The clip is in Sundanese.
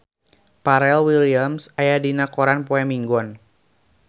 Pharrell Williams aya dina koran poe Minggon